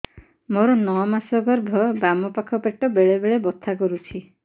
ମୋର ନଅ ମାସ ଗର୍ଭ ବାମ ପାଖ ପେଟ ବେଳେ ବେଳେ ବଥା କରୁଛି